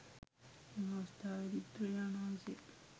එම අවස්ථාවේදී බුදුරජාණන්වහන්සේ